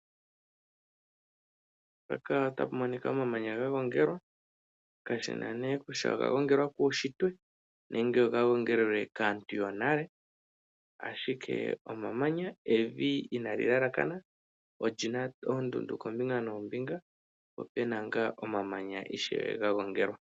Omamanya ga gongelwa, kashi na nduno kutya oga gongelelwa kuunshitwe nenge okaantu yonale. Evi inaali elekana, oli na oondundu koombinga noombinga, po pe na ngaa omamanya ga gongelwa.